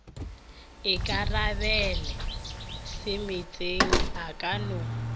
ikarabela semeetseng a ka no